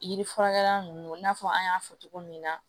Yiri furakɛra nunnu na fɔ an y'a fɔ cogo min na